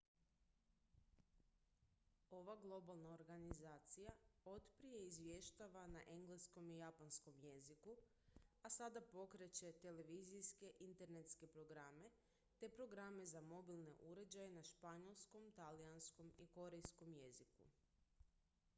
ova globalna organizacija otprije izvještava na engleskom i japanskom jeziku a sada pokreće televizijske internetske programe te programe za mobilne uređaje na španjolskom talijanskom i korejskom jeziku